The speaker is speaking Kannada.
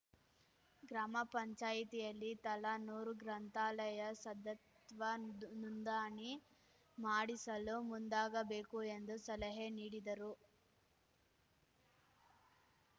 ಗ್ರಾಮ ಪಂಚಾಯ್ತಿಯಲ್ಲಿ ತಲಾ ನೂರು ಗ್ರಂಥಾಲಯ ಸದತ್ವ ದ್ದುನ್ ನೋಂದಾಣಿ ಮಾಡಿಸಲು ಮುಂದಾಗಬೇಕು ಎಂದು ಸಲಹೆ ನೀಡಿದರು